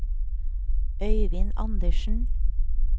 Øivind Andersen